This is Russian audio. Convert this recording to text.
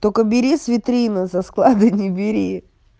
только бери с витрины со склада не бери